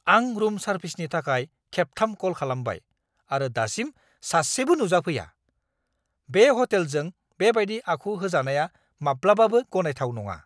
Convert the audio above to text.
आं रुम सार्भिसनि थाखाय खेबथाम कल खालामबाय, आरो दासिम सासेबो नुजाफैया। बे ह'टेलजों बेबायदि आखु होजानाया माब्लाबाबो गनायथाव नङा!